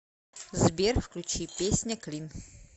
сбер включи песня клин